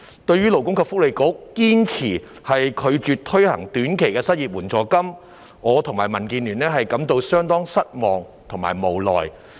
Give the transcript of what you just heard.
對於勞工及福利局堅持拒絕推行短期失業援助金，我和民主建港協進聯盟均感到相當失望和無奈。